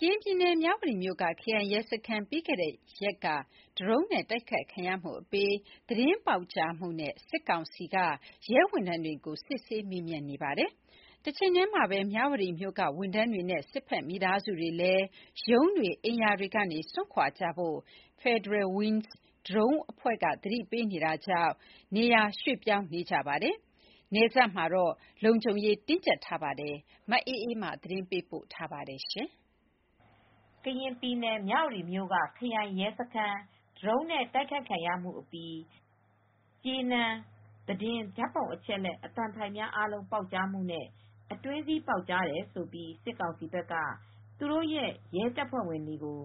ကရင်ပြည်နယ် မြဝတီမြို့က ခရိုင်ရဲစခန်း ပြီးခဲ့တဲ့ရက်က ဒရုန်းနဲ့တိုက်ခိုက်ခံရမှုအပြီး ကြေးနန်းသတင်း၊ ဓါတ်ပုံအချက်အလက်၊ အသံဖိုင်တွေအားလုံး ပေါက်ကြားမှုနဲ့ အတွင်းစည်းပေါက်ကြားတယ်ဆိုပြီး စစ်ကောင်စီဘက်က ရဲဝန်ထမ်းတွေကို စစ်ဆေးမေးမြန်းနေပါတယ်။ နောက်ဆက်တွဲအဖြစ် မြဝတီမြို့က ဌာနဆိုင်ရာဝန်ထမ်းတွေ၊ စစ်ကောင်စီတပ်ဖွဲ့ဝင် မိသားစုတွေအနေနဲ့ သက်ဆိုင်ရာရုံး အဆောက်အဦ၊ အိမ်ရာတွေကစွန့်ခွာဖို့ Federal Wings ဒရုန်းတပ်ဖွဲ့ရဲ့သတိပေးချက်ကြောင့်လည်း နေရာရွှေ့ပြောင်းနေကြပါတယ်။ အခုအခါမှာ ထိုင်းနိုင်ငံနယ်စပ် မြဝတီနဲ့မဲဆောက်မြို့မှာ လုံခြုံရေးတင်းကြပ်နေပါတယ်။ ဒီသတင်းကို ဗွီအိုအေသတင်းထောက် မအေးအေးမာက သတင်းပေးပို့ထားပါတယ်။ ကရင်ပြည်နယ် မြ၀တီမြို့က ခရိုင်ရဲစခန်း ဒရုန်းနဲ့တိုက်ခိုက်ခံရအပြီး ကြေးနန်း သတင်း၊ ဓါတ်ပုံ၊ အချက်အလက်နဲ့ အသံဖိုင်တွေအားလုံးပေါက်ကြားမှုနဲ့ အတွင်းစည်းပေါက်ကြားတယ်ဆိုပြီး စစ်ကောင်စီဘက်က ရဲတပ်ဖွဲ့ဝင်တွေကို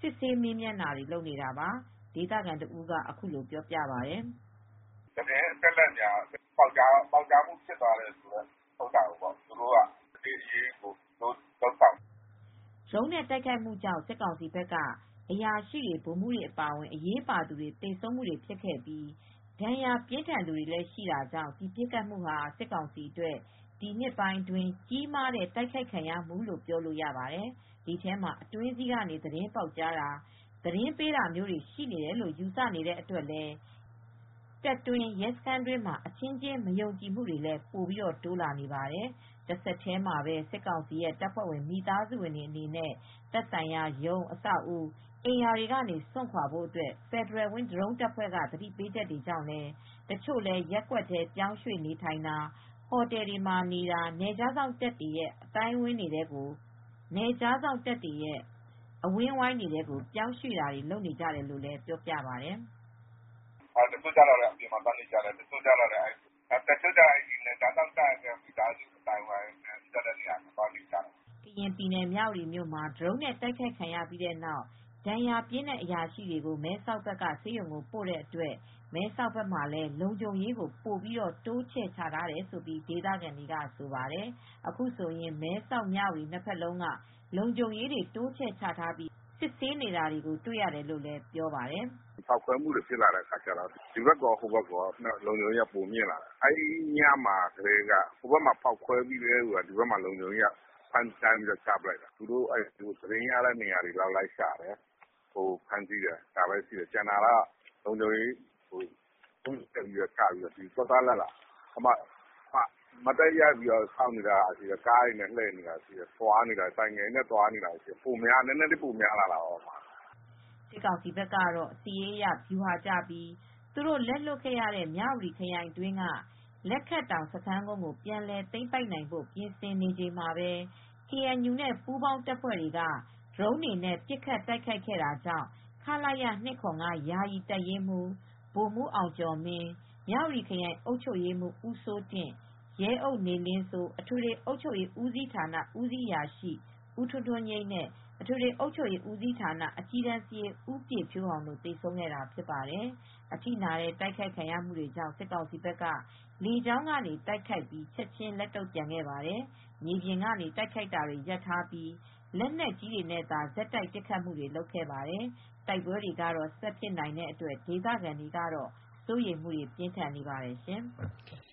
စစ်ဆေးမေးမြန်းတာတွေ လုပ်နေတာပါ။ ဒီဒေသခံတဦးက ပြောပြပါတယ်။ "သတင်းအချက်အလက်တွေ ပေါက်ကြားမှုဖြစ်တယ်ဆိုပြီး သူတို့က စစ်ဆေးအရေးယူဖို့တွေလုပ်ဆောင်နေပါတယ်။" ဒရုန်းနဲ့တိုက်ခိုက်မှုကြောင့် စစ်ကောင်စီဘက်က အရာရှိတွေ၊ ဗိုလ်မှူးတွေအပါအဝင် အရေးပါသူတွေသေဆုံးခဲ့ပြီး ဒဏ်ရာပြင်းသူတွေလည်း ရှိတာကြောင့် ဒီပစ်ခတ်မှုဟာ စစ်ကောင်စီအတွက် ဒီနှစ်ပိုင်းအတွင်း ကြီးမားတဲ့ တိုက်ခိုက်ခံရမှုလို ပြောလို့ရပါတယ်။ ဒီထဲမှာ အတွင်းစည်းကနေ သတင်းပေါက်ကြားတာ၊ သတင်းပေးတာတွေရှိတယ်လို့ယူဆနေတဲ့အတွက် တပ်တွင်းရဲစခန်းတွင်းမှာ အချင်းချင်း မယုံကြည်မှုတွေလည်း ပိုတိုးလာနေပါတယ်။ တဆက်တည်းမှာပဲ စစ်ကောင်စီတပ်ဖွဲ့ဝင် မိသားစုများအနေနဲ့ သက်ဆိုင်ရာရုံး အဆောက်အဦ၊ အိမ်ရာများမှ စွန့်ခွာဖို့ Federal Wings ဒရုန်းတပ်ဖွဲ့က သတိပေးချက်ကြောင့် တချို့လည်း ရပ်ကွက်တွေထဲ ပြောင်းရွှေ့နေထိုင်တာ၊ ဟိုတယ်တွေမှာနေတာ နယ်ခြားစောင့်တပ်တွေရဲ့အဝန်းအဝိုင်းထဲပြောင်းရွှေ့တာတွေ လုပ်နေကြတယ်လို့လည်း ပြောပါတယ်။ "တချို့ကျတော့လည်း အပြင်မှာသွားနေကြတယ်။ တချို့ကျတော့လည်းနယ်ခြားစောင့်တပ်နဲ့နီးစပ်တဲ့နေရာတွေမှာ သွားနေတယ်။" ကရင်ပြည်နယ် မြ၀တီမြို့မှာ ဒရုန်းတိုက်ခိုက်ခံရပြီးတဲ့နောက် ဒဏ်ရာပြင်းတဲ့အရာရှိတွေကို မဲဆောက်ဘက်က ဆေးရုံကိုပို့တဲ့အတွက် မဲဆောက်ဘက်မှာလည်း လုံခြုံရေး ပိုပြီးတိုးချဲထားတယ်လို့ ဒေသခံတွေကဆိုပါတယ်။ အခုဆိုရင် မြဝတီ-မဲဆောက်နှစ်ဘက်လုံးက လုံခြုံရေးတွေတိုးချဲ့ချထားပြီး စစ်ဆေးနေတာတွေ့ရတယ်လို့လည်း ဆိုပါတယ်။ "ပေါက်ကွဲမှုတွေဖြစ်ပြီးတဲ့နောက် ဒီဘက်ကော ဟိုဘက်ကော နှစ်ဘက်လုံးလုံခြုံရေးတွေတိုးချဲ့ချထားတယ်။ သတင်းရတဲ့နေရာတွေကို လိုက်လံရှာတယ်။ ဖမ်းဆီးတယ်။ လုံခြုံရေးကတော့ အထူးချထားပြီးတော့ မတ်တပ်ရပ်ပြီးစောင့်နေတာရှိတယ်။ ကားတွေနဲ့သွားတာရှိတယ်၊ ဆိုင်ကယ်တွေနဲ့သွားတာရှိတယ်၊ လုံခြုံရေးကို ပိုပြီးချထားတာတွေရှိနေတယ်။" စစ်ကောင်စီဘက်ကတော့ စစ်ရေးအရ ဗျူဟာကျပြီး သူတို့လက်လွှတ်ခဲ့ရတဲ့ မြ၀တီခရိုင်အတွင်းက လက်ခတ်တောင် စခန်းကုန်းကို ပြန်လည် သိမ်းပိုက်နိုင် ဖို့ ပြင်ဆင်နေချိန်မှာပဲ ကေအန်ယူနဲ့ပူးပေါင်းတပ်ဖွဲ့တွေက ဒရုန်းတွေနဲ့ ပစ်ခတ် တိုက်ခိုက်ခဲ့တာကြောင့် ခလရ ၂၇၅ ယာယီတပ်ရင်းမှူး ဗိုလ်မှူးအောင်ကျော် မင်း၊ မြဝတီခရိုင်အုပ်ချုပ်ရေးမှူး ဦးစိုးတင့်၊ ရဲအုပ်နေလင်းစိုး၊ အထွေထွေအုပ်ချုပ်ရေးဦးစီးဌာန ဦးစီးအရာရှိ ဦးထွန်းထွန်းညိမ်းနဲ့ အထွေထွေအုပ်ချုပ်ရေးဦးစီးဌာန အကြီးတန်းစာရေး ဦးပြည့်ဖြိုးအောင်တို့ သေဆုံးခဲ့တာဖြစ်ပါတယ်။ အထိနာတဲ့တိုက်ခိုက်ခံရမှုတွေကြောင့် စစ်ကောင်စီဘက်က လေကြောင်းကနေ တိုက်ခိုက်ပြီး ချက်ချင်းလက်တုံ့ပြန်ခဲ့ပါတယ်။ မြေပြင်ကနေ တိုက်ခိုက်တာတွေရပ်ထားပြီး လက်နက်ကြီးတွေနဲ့သာ ဆက်တိုက်ပစ်ခတ်မှုတွေလုပ်ခဲ့ပါတယ်။ တိုက်ပွဲတွေဆက်ဖြစ်နိုင်တဲ့အတွက် ဒေသခံတွေက စိုးရိမ်စိတ် ပြင်းထန်နေပါတယ်ရှင်။